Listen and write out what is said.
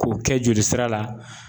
K'o kɛ joli sira la